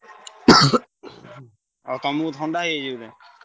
ଆଉ ତମୁକୁ ଥଣ୍ଡା ହେଇଯାଇଛି ବୋଧେ?